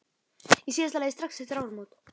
Í síðasta lagi strax eftir áramót.